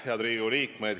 Head Riigikogu liikmed!